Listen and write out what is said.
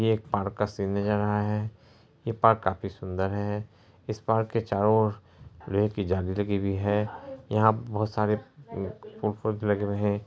ये एक park scene नजर आ रहा है| ये पार्क काफी सुंदर है| इस पार्क के चारो और रेल की जाली लगी हुई है| यहाँ पर बोहत सारे प फूल-पौधे लगे हुए हैं।